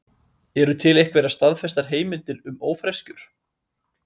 Eru til einhverjar staðfestar heimildir um ófreskjur?